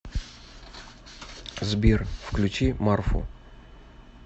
сбер включи марфу